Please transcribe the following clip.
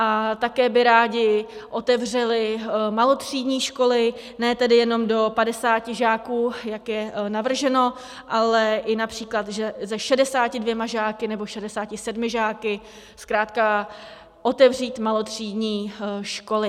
A také by rádi otevřeli malotřídní školy, ne tedy jenom do 50 žáků, jak je navrženo, ale i například se 62 žáky nebo 67 žáky, zkrátka otevřít malotřídní školy.